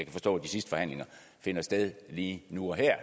forstå at de sidste forhandlinger finder sted lige nu og her